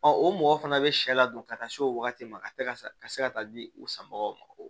o mɔgɔ fana bɛ sɛ la dun ka taa se o wagati ma a ka tɛ ka se ka taa di u sanbagaw ma